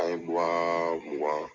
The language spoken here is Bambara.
An ye wa mugan